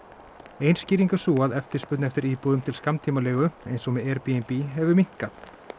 ein skýring er sú að eftirspurn eftir íbúðum til skammtímaleigu eins og með Airbnb hefur minnkað